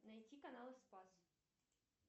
найти канал спас